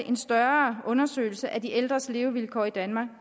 en større undersøgelse af de ældres levevilkår i danmark